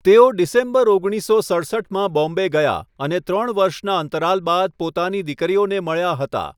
તેઓ ડિસેમ્બર ઓગણીસસો સડસઠમાં બોમ્બે ગયા અને ત્રણ વર્ષના અંતરાલ બાદ પોતાની દીકરીઓને મળ્યા હતા.